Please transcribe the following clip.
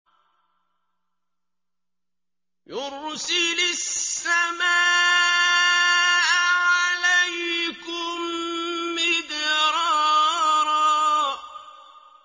يُرْسِلِ السَّمَاءَ عَلَيْكُم مِّدْرَارًا